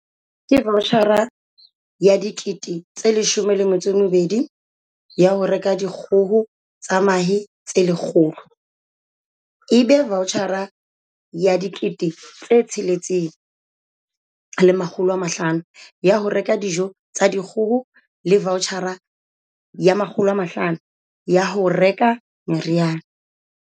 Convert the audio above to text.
"Ke vaotjhara ya R12 000 ya ho reka dikgoho tsa mahe tse 100, ebe vaotjhara ya R6 500 ya ho reka dijo tsa dikgoho le vaotjhara ya R500 ya ho reka meriana".